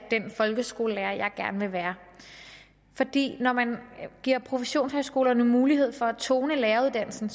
den folkeskolelærer jeg gerne vil være når man giver professionshøjskolerne mulighed for at tone læreruddannelsen